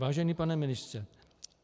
Vážený pane ministře.